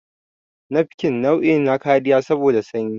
nafkin nau'i na kariya saboda sanyi